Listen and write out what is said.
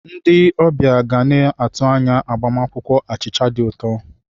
Ndi ọbịa ga na-atụ anya agbamakwụkwọ achịcha dị ụtọ.